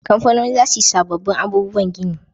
Kamfanoni za su yi sabobbin abubuwan gini